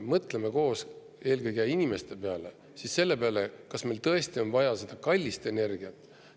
Mõtleme koos eelkõige inimeste peale ja siis selle peale, kas meil tõesti on vaja seda kallist energiat.